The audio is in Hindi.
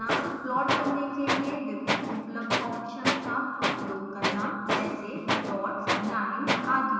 प्लॉट करने के लिए विभिन्न उपलब्ध ऑप्शन्स का उपयोग करना जैसे dots lines आदि